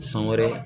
San wɛrɛ